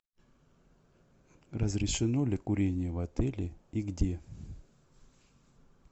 разрешено ли курение в отеле и где